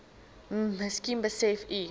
miskien besef u